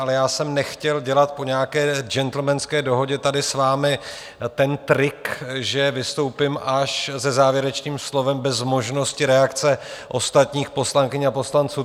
Ale já jsem nechtěl dělat po nějaké gentlemanské dohodě tady s vámi ten trik, že vystoupím až se závěrečným slovem bez možnosti reakce ostatních poslankyň a poslanců.